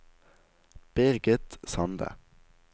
Birgit Sande